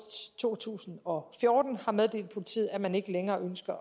to tusind og fjorten har meddelt politiet at man ikke længere ønsker at